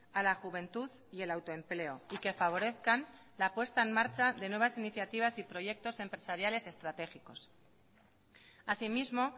a la juventud y el autoempleo y que favorezcan la puesta en marcha de nuevas iniciativas y proyectos empresariales estratégicos asimismo